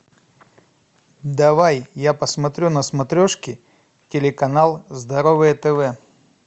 давай я посмотрю на смотрешке телеканал здоровое тв